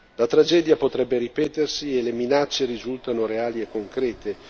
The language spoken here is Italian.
La tragedia potrebbe ripetersi e le minacce risultano reali e concrete.